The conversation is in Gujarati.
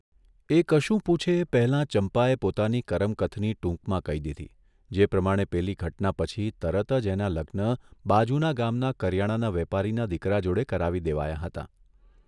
એ કશું પૂછે એ પહેલા ચંપાએ પોતાની કરમ કથની ટૂંકમાં કહી દીધી જે પ્રમાણે પેલી ઘટના પછી તરત જ એનાં લગ્ન બાજુના ગામના કરિયાણાના વેપારીના દીકરા જોડે કરાવી દેવાયાં હતાં.